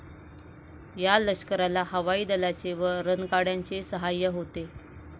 या लष्कराला हवाई दलाचे व रणगाड्यांचे सहाय्य होते.